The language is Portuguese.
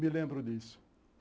Me lembro disso.